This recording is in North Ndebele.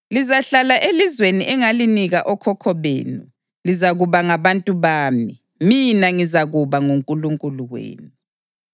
Lizahlala elizweni engalinika okhokho benu; lizakuba ngabantu bami, mina ngizakuba nguNkulunkulu wenu.